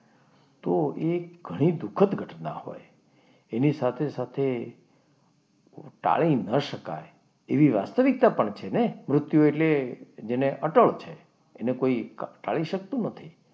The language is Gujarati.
તો એ ઘણી દુઃખદ ઘટના હોય. એની સાથે સાથે ટાળી ન શકાય એવી વાસ્તવિકતા પણ છે ને! મૃત્યુ એટલે જેને અટડ છે કોઈ એને કોઈ ટાળી શકતો નથી.